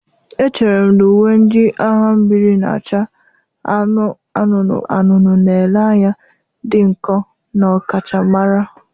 Echere m na uwe ndị agha mmiri na-acha anụnụ anụnụ na-ele anya dị nkọ na ọkachamara.